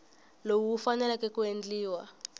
lowu wu faneleke ku endliwa